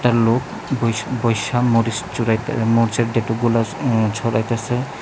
একটা লোক বইসা বইসা মরিচ চুরাইতে উম ছড়াইতাছে।